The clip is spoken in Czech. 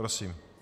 Prosím.